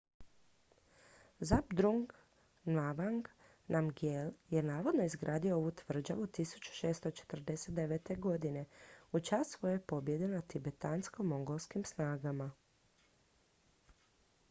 zhabdrung ngawang namgyel je navodno izgradio ovu tvrđavu 1649. godine u čast svoje pobjede nad tibetansko-mongolskim snagama